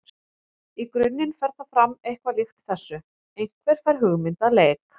Í grunninn fer það fram eitthvað líkt þessu: Einhver fær hugmynd að leik.